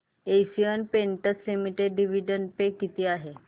Asian Paints limited dividend pay किती आहे